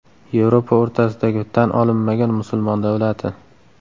Yevropa o‘rtasidagi tan olinmagan musulmon davlati.